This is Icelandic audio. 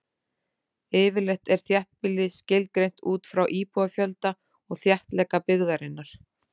Yfirleitt er þéttbýli skilgreint út frá íbúafjölda og þéttleika byggðarinnar.